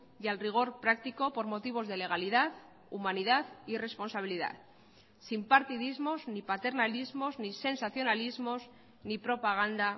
y al rigor práctico por motivos de legalidad humanidad y responsabilidad sin partidismos ni paternalismos ni sensacionalismos ni propaganda